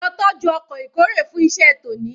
Lo tọ́jú ọkọ̀ ìkórè fún iṣẹ́ tòní